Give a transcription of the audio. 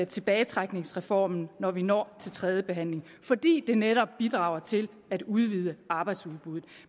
tilbagetrækningsreformen når vi når til tredjebehandlingen fordi det netop bidrager til at udvide arbejdsudbuddet